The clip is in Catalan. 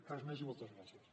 res més i moltes gràcies